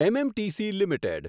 MMTC limited